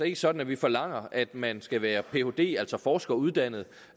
ikke sådan at vi forlanger at man skal være phd altså forskeruddannet